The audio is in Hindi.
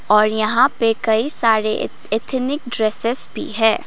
और यहां पे कई सारे एथेनिक ड्रेसेस भी हैं।